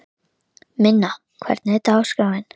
Minna, hvernig er dagskráin?